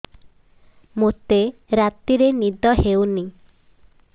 ମୋତେ ରାତିରେ ନିଦ ହେଉନି